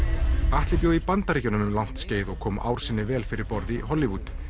Atli bjó í Bandaríkjunum um langt skeið og kom ár sinni vel fyrir borð í Hollywood